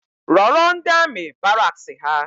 Rọrọ ndi amị baraks ha